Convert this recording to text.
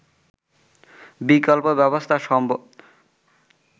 বিকল্প ব্যবস্থা সম্ভব